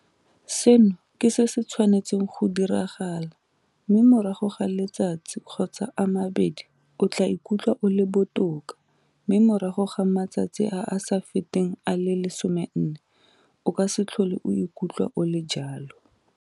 Seno ke se se tshwanetseng go diragala mme morago ga letsatsi kgotsa a mabedi o tla ikutlwa o le botoka mme morago ga matsatsi a a sa feteng a le 14 o ka se tlhole o ikutlwa o le jalo.